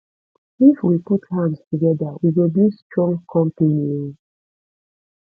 if we put hand togeda we go build strong company o